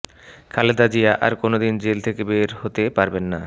খালেদা জিয়া আর কোনো দিন জেল থেকে বের হতে পারবেন না